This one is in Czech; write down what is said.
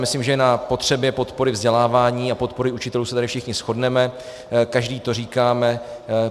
Myslím, že na potřebě podpory vzdělávání a podpory učitelů se tady všichni shodneme, každý to říkáme.